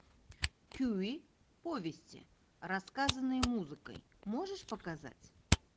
кюи повести рассказанные музыкой можешь показать